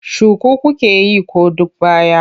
Shuku kuke yi ko duk baya?